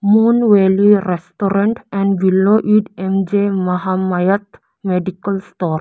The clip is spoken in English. Mon valley restaurant and below it M_J mahamayath medical store.